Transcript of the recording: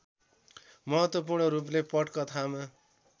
महत्त्वपूर्ण रूपले पटकथामा